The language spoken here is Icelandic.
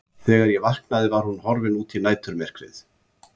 Þegar ég vaknaði var hún horfin út í næturmyrkrið.